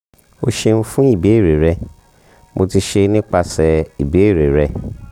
o ṣeun fun ibeere rẹ mo ti ṣe nipasẹ ibeere rẹ